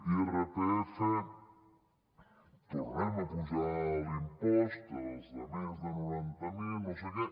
irpf tornem a apujar l’impost als de més de noranta mil no sé què